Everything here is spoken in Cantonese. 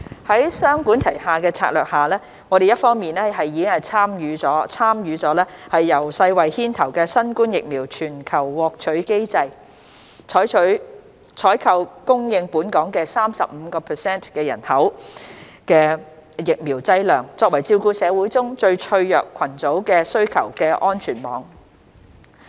在雙管齊下的策略下，我們一方面已參與由世衞牽頭的新冠疫苗全球獲取機制，採購供應本港 35% 人口的疫苗劑量，作為照顧社會中最脆弱群組的需求的安全網。